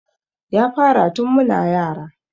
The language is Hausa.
Ya fara tun muna yara